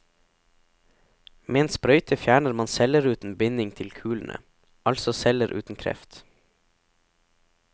Med en sprøyte fjerner man celleruten binding til kulene, altså celler uten kreft.